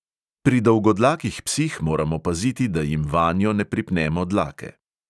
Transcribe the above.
Pri dolgodlakih psih moramo paziti, da jim vanjo ne pripnemo dlake.